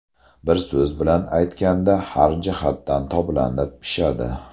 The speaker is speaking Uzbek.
Bir so‘z bilan aytganda, har jihatdan toblanib, pishadi.